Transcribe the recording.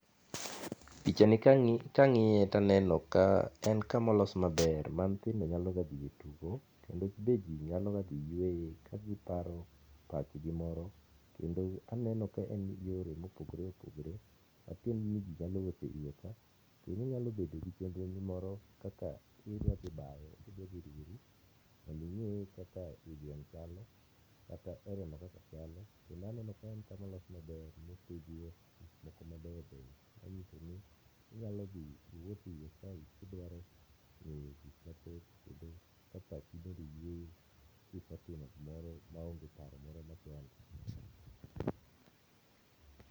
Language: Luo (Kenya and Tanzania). picha ni kang'iye to aneno ka en kamo los maber ma nyithindo nyalo ga dhiye tugo kendo be ji nyalo ga dhi yueye ka giparo pach gi moro ,kendo aneno ka en gi yore mopogore opogore matiende ma ji nyalo wuothe iye ka kendo inyalo bedo gi chenro ni moro kaka kidwa dhi bayo kata idwa dhi rieri mondo ing'eye kaka i gweng chalo kata area no kaka chalo kendo aneno ka en kamo los maber mopidhie gik moko mabeyo beyo, manyiso ni inyalo dhi iwuothie iye kae kidwaro ng'eyo gik mathoth kendo ka pachi bende yueyo kisetinmo gimoro ma ong'e paro moro machandi